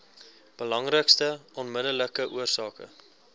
belangrikste onmiddellike oorsake